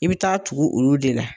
I bi taa tugu olu de la.